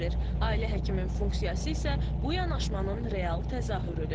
Ailə həkiminin funksiyası isə bu yanaşmanın real təzahürüdür.